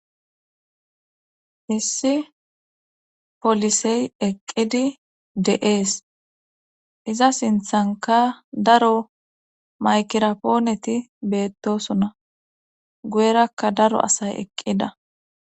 issi polisey eqqidi de7ees iza sinthanka daro maykira pooneti beettosona guyerakka daro asay eqqida